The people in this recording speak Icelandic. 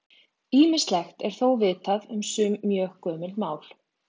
Ýmislegt er þó vitað um sum mjög gömul mál.